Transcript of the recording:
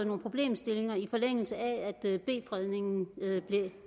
nogle problemstillinger i forlængelse af at b fredningen